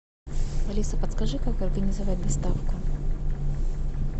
алиса подскажи как организовать доставку